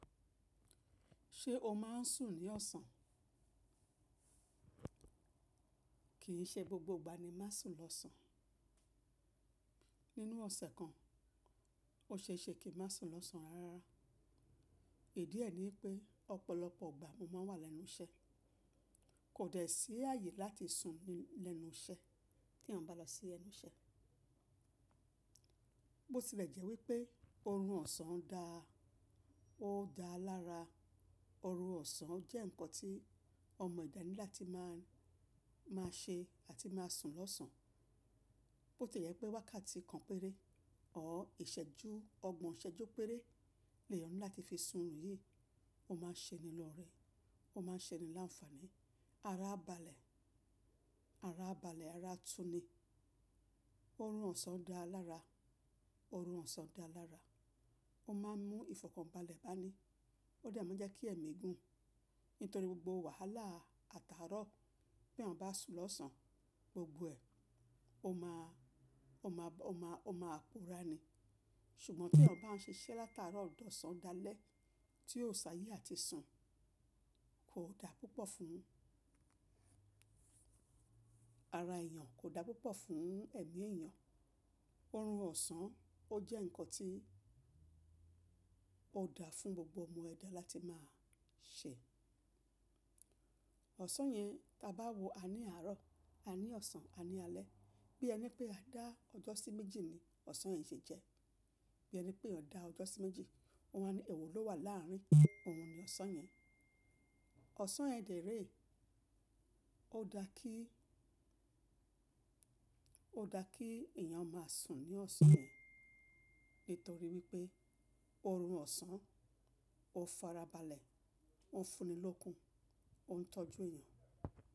Ṣé o máa ń sùn ní ọ̀sán? Kìí ṣe gbogbo gbà ni máa ń sùn lọ́sàn-án. Nínú ọ̀sẹ̀ kan, o ṣe é ṣe kí n máa sùn lọ́sán-án rárá. Ìdí ẹ ní pé ọ̀pọ̀lọpọ̀ gbà mo máa wà lẹ́nu iṣẹ́. Kò dẹ́ sí ààyè láti sùn lẹ́nu iṣẹ́ tí ènìyàn bá lọ sí ẹnu iṣẹ́. Bó tilẹ̀ jẹ́ wípé oorun ọ̀sán da, ó dáa lára. Oorun ọ̀sán jẹ́ nǹkan tí ọmọ eedá ni lati máa ń ṣe àti máa sùn lọ́sán-án. Bó tilẹ̀ jẹ́ pé wákàtí kan péré ọ́ ìṣẹ́ju, ọgbọ̀n ìṣẹ́ju péré lè eeyan láti fi sùn oòrun yìí. Ó máa ṣe ni lọ́ọ̀rẹ́, ó máa ṣe ni láǹfààní. Ara a balẹ̀, ara a balẹ̀, ara a tún ni. Oorun ọ̀sán dáa lára, oorun ọ̀sán dáa lára. Ó máa ń mú ìfọ̀kànbalẹ̀ ba ni. Ó de maa jẹ́ kí ẹ̀mí gùn. Nítorí gbogbo wàhálà àtàárọ̀ pé ènìyàn bá sùn lọ́sán, gbogbo ẹ, ó máa pòórá ni. Ṣùgbọ́n bí ènìyàn bá ń ṣiṣẹ́ láti aaro di ọ̀sán dalẹ́ tí ó si ayé àti sùn, kò da púpọ̀ fún ara èèyàn, kò da púpọ̀ fún ẹ̀mí èèyàn. Oorun ọ̀sán ó jẹ́ nǹkan tí ó da fún gbogbo ọmọ ẹ̀dá láti máa ṣe. Ọ̀sán yẹn, tí a bá wo a ní àárọ̀, a ní ọ̀sán, a ní alẹ́. Bí ẹ ni pé a dá ọjọ́ sí méjì ni ọ̀sán yẹn ṣe jẹ́. Bí ẹ ni pé eeyan dá ọjọ́ sí méjì, wọn wa ní ẹ̀wo ló wà láàrin. Òun ni ọ̀sán yẹn. Ọ̀sán yẹn dèrè. Ó da kí, ó da kí ènìyàn máa sùn ní ọ̀sán yẹn nítorí wípé oorun ọ̀sán ó farabalẹ̀, ó ń fún ni lókun, ó ń tọ́jú èèyàn.